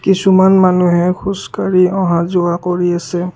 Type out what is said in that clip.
কিছুমান মানুহে খোজকাঢ়ি অহা-যোৱা কৰি আছে।